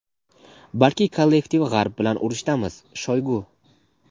balki kollektiv G‘arb bilan urushdamiz – Shoygu.